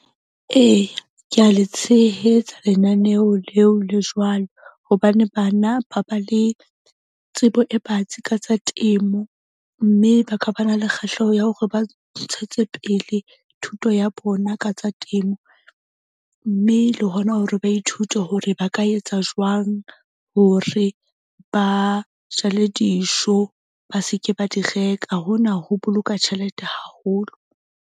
Eya, ke a le tshehetsa lenaneo leo le jwalo, hobane bana ba ba le tsebo e batsi ka tsa temo. Mme ba ka ba na le kgahleho ya hore ba ntshetsepele thuto ya bona ka tsa temo. Mme le hona hore ba ithute hore ba ka etsa jwang hore ba jale dijo, ba seke ba di reka. Hona ho boloka tjhelete haholo.